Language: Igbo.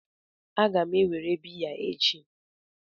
Aga m ewere biya echi